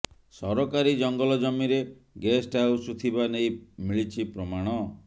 ସରକାରୀ ଜଙ୍ଗଲ ଜମିରେ ଗେଷ୍ଟ ହାଉସ ଥିବା ନେଇ ମିଳିଛି ପ୍ରମାଣ